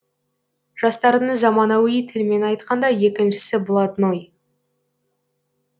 жастардың заманауи тілмен айтқанда екіншісі блатной